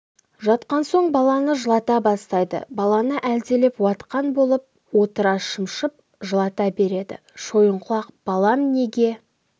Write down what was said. жатқан соң баланы жылата бастайды баланы әлдилеп уатқан болып отыра шымшып жылата береді шойынқұлақ балам неге